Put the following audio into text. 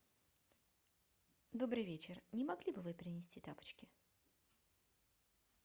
добрый вечер не могли бы вы принести тапочки